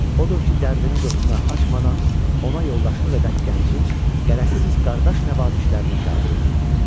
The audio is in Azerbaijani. Odur ki, dərdini dostuna açmadan ona yoldaşlıq edən gəncin qərəzsiz qardaş nəvazişlərini qəbul eləyirdi.